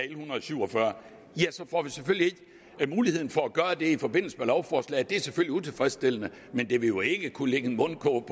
en hundrede og syv og fyrre får vi selvfølgelig ikke muligheden for at gøre det i forbindelse med lovforslaget det er selvfølgelig utilfredsstillende men det vil jo ikke kunne lægge en mundkurv